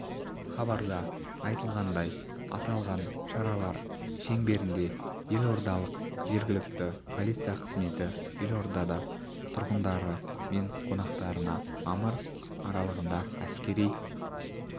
хабарда айтылғандай аталған шаралар шеңберінде елордалық жергілікті полиция қызметі елорда тұрғындары мен қонақтарына мамыр аралығында әскери